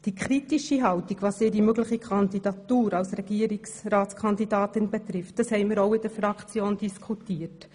Die kritische Haltung, was ihre mögliche Kandidatur für den Regierungsrat betrifft, haben wir in der Fraktion ebenfalls diskutiert.